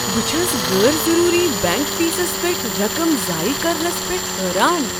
بہٕ چھٖس غٲرضروری بینک فیسس پیٹھ رقم زایہِ كرنس پٮ۪ٹھ حٲران۔